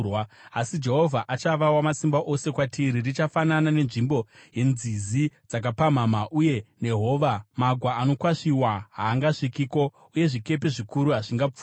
Asi Jehovha achava Wamasimba Ose kwatiri. Richafanana nenzvimbo yenzizi dzakapamhamha uye nehova. Magwa anokwasviwa haangasvikiko, uye zvikepe zvikuru hazvingapfuuri.